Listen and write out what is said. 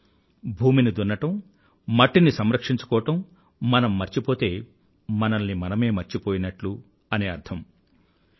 అంటే భూమిని దున్నటం మట్టిని సంరంక్షించుకోవడం మనం మర్చిపోతే మనల్ని మనమే మర్చిపోయినట్లు అని అర్థం